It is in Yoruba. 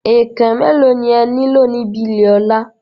Ẹ̀ẹ̀kàn mẹ́ẹ̀ló ni e nílò níbi ilé Ọ̀la?